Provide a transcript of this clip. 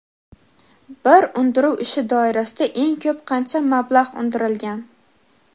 Bir undiruv ishi doirasida eng ko‘p qancha mablag‘ undirilgan?.